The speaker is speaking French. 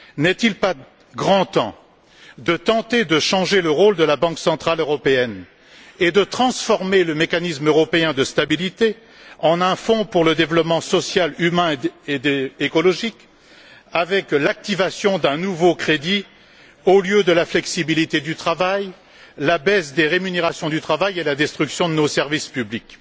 N'est il pas grand temps de tenter de changer le rôle de la Banque centrale européenne et de transformer le Mécanisme européen de stabilité en un fonds pour le développement social, humain et écologique, avec l'activation d'un nouveau crédit, en lieu et place de la flexibilité du travail, de la baisse de la rémunération du travail et de la destruction de nos services publics?